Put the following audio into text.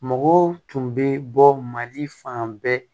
Mɔgɔw tun bɛ bɔ mali fan bɛɛ